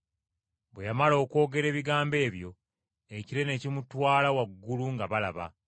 Bwe yamala okwogera ebigambo ebyo, ekire ne kimutwala waggulu nga balaba.